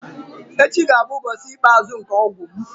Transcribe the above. Echi ga-abụ ụbọchị ikpeazụ nke ọgwụ m.